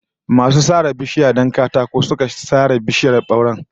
Masu sare itatuwa don katako su suka sare bishiyar bauren